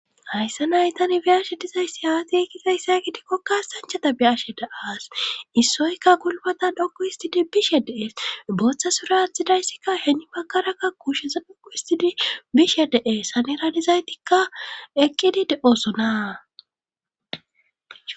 Hayssa nay tani biyashe dizayssi haati ekkizayssa gidikkokkaastanchata biyashe da7as issoyka gulbatan dhoku histidi bishe dee booththa sura attidayssikka heeni bakarakka kuushesan dhoku histidi bishe dee saniranizaytikka eqqidi de7oosona